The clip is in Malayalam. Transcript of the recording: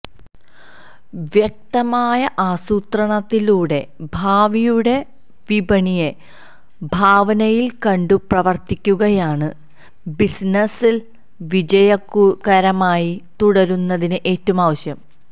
വ്യക്തമായ ആസൂത്രണത്തിലൂടെ ഭാവിയുടെ വിപണിയെ ഭാവനയില് കണ്ടു പ്രവര്ത്തിക്കുകയാണു ബിസിനസില് വിജയകരമായി തുടരുന്നതിന് ഏറ്റവും ആവശ്യം